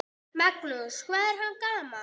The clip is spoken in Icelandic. Magnús: Hvað var hann gamall?